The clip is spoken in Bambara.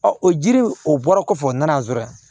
o jiri o bɔra kɔfɛ u nana zonye